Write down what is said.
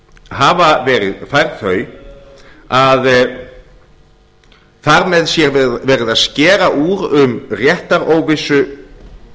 hafa verið færð þau að þar með sé verið að skera úr um réttaróvissu